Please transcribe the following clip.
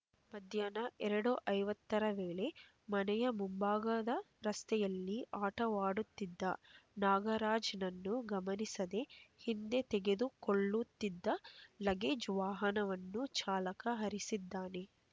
ಮಧ್ಯಾಹ್ನ ಎರಡು ಐವತ್ತರ ವೇಳೆ ಮನೆಯ ಮುಂಭಾಗದ ರಸ್ತೆಯಲ್ಲಿ ಆಟವಾಡುತ್ತಿದ್ದ ನಾಗರಾಜ್‌ನನ್ನು ಗಮನಿಸದೆ ಹಿಂದೆ ತೆಗೆದುಕೊಳ್ಳುತ್ತಿದ್ದ ಲಗೇಜ್ ವಾಹನವನ್ನು ಚಾಲಕ ಹರಿಸಿದ್ದಾನೆ